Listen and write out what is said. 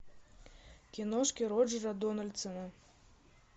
киношки роджера дональдсона